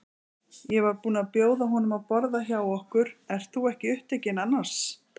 Ég var búin að bjóða honum að borða hjá okkur- ert þú ekki upptekinn annars?